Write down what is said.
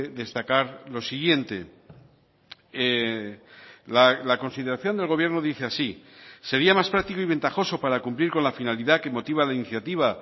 destacar lo siguiente la consideración del gobierno dice así sería más práctico y ventajoso para cumplir con la finalidad que motiva la iniciativa